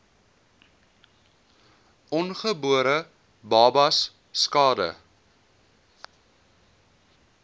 ongebore babas skade